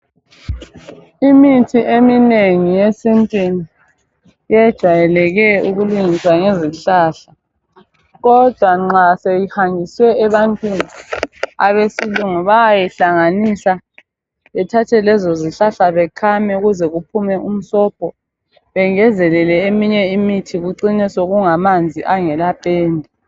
Imithi eminengi yesintwini yejayeleke ukulungiswa ngezihlahla kodwa nxa isihanjiswe ebantwini abesilungu bayayihlanganisa bethathe lezozihlahla bekhame ukuze kuphume umsobho bengezelele eminye imithi kucine sekungamanzi angelapenda.